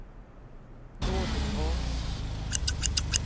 Nordingrå